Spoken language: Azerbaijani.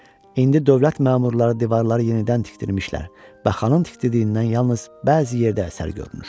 İndi dövlət məmurları divarları yenidən tikdirmişlər və xanın tikdirdiyindən yalnız bəzi yerdə əsər görünür.